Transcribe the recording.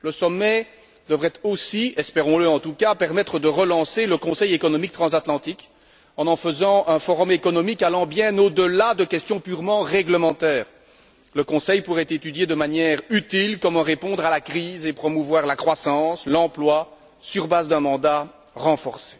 Le sommet devrait aussi, espérons le en tout cas, permettre de relancer le Conseil économique transatlantique en en faisant un forum économique allant bien au delà de questions purement réglementaires. Le Conseil pourrait étudier de manière utile comment répondre à la crise et promouvoir la croissance, l'emploi, sur base d'un mandat renforcé.